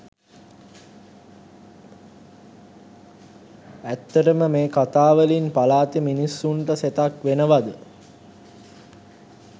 ඇත්තටම මේ කතා වලින් පළාතෙ මිනිස්සුන්ට සෙතක් වෙනවද?